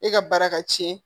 E ka baara ka cɛn